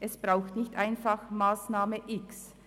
Es braucht nicht einfach die Massnahme X.